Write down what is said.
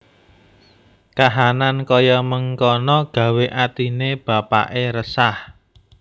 Kahanan kaya mengkana gawé atine bapakke resah